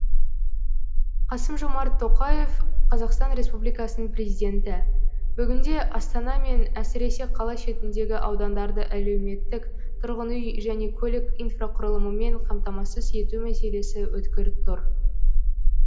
қасым жомарт тоқаев қазақстан республикасының президенті бүгінде астана мен әсіресе қала шетіндегі аудандарды әлеуметтік тұрғын үй және көлік инфрақұрылымымен қамтамасыз ету мәселесі өткір тұр